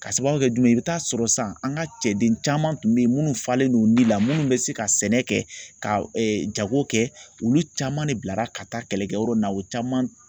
Ka sababu kɛ jumɛn ye i bɛ taa sɔrɔ san an ka cɛden caman tun bɛ yen minnu falen n'u ni la minnu bɛ se ka sɛnɛ kɛ ka jago kɛ olu caman de bilara ka taa kɛlɛkɛyɔrɔ in na u caman